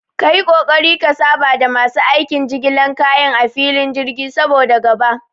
Kayi ƙoƙari ka saba da masu aikin jigilan kaya a filin jirgi, saboda gaba